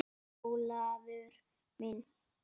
En Ólafur minn.